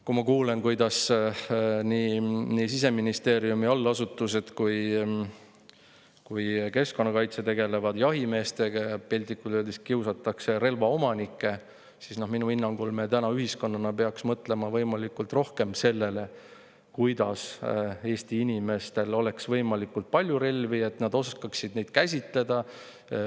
Kui ma kuulen, kuidas nii Siseministeeriumi allasutused kui ka keskkonnakaitse tegelevad jahimeestega ja piltlikult öeldes kiusavad relvaomanikke, siis minu hinnangul me täna ühiskonnana peaksime mõtlema rohkem sellele, et Eesti inimestel oleks võimalikult palju relvi ja et nad oskaksid neid käsitseda.